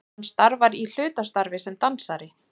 Hann starfar í hlutastarfi sem dansari